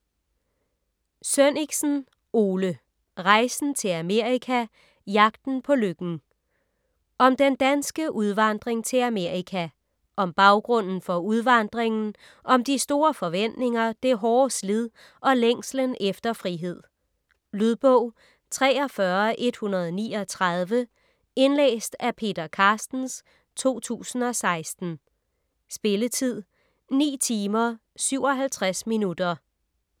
Sønnichsen, Ole: Rejsen til Amerika: Jagten på lykken Om den danske udvandring til Amerika. Om baggrunden for udvandringen, om de store forventninger, det hårde slid og længslen efter frihed. Lydbog 43139 Indlæst af Peter Carstens, 2016. Spilletid: 9 timer, 57 minutter.